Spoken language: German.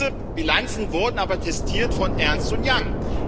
Diese Bilanzen wurden aber testiert von Ernst Young.